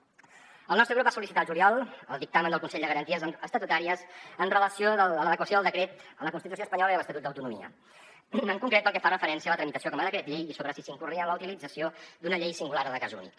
el nostre grup va sol·licitar al juliol el dictamen del consell de garanties estatutàries amb relació a l’adequació del decret a la constitució espanyola i a l’estatut d’autonomia en concret pel que fa referència a la tramitació com a decret llei i sobre si s’incorria en la utilització d’una llei singular o de cas únic